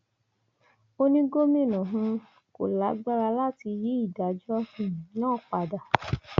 ó ní gómìnà um kò lágbára láti yí ìdájọ um náà padà